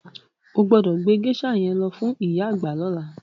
O gbọ́dọ̀ gbé géṣà yẹn lọ fún ìyá àgbà lọ́la.